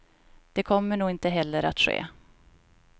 Det kommer nog inte heller att ske.